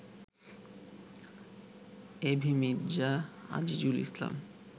AB Mirza Azizul Islam